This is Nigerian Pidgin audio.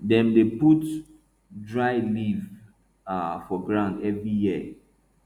dem dey put dry leaf um for ground every year